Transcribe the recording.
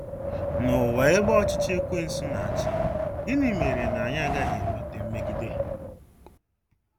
N'ụwa ebe ọchịchị Ekwensu na-achị, gịnị mere na anyị agaghị enweta mmegide?